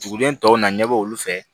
Duguden tɔw na ɲɛbɔ olu fɛ